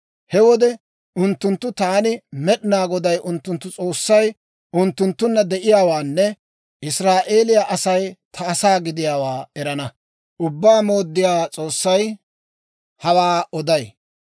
He wode unttunttu taani Med'inaa Goday, unttunttu S'oossay unttunttunna de'iyaawaanne Israa'eeliyaa Asay ta asaa gidiyaawaa erana. Ubbaa Mooddiyaa S'oossay hawaa oday.